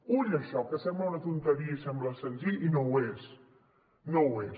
ull amb això que sembla una tonteria i sembla senzill i no ho és no ho és